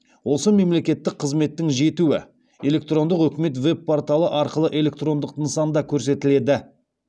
осы мемлекеттік қызметтің жетуі электрондық үкімет веб порталы арқылы электрондық нысанда көрсетіледі